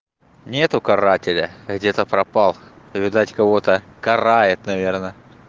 нету карателя где-то пропал повидать кого-то карает наверное